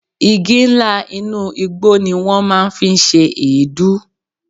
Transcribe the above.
Igi ńlá inú igbó ni wọ́n máa ń fi ń ṣe èédú.